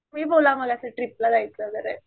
तुम्ही बोला मला आता ट्रीपला जायचं आहे वगैरे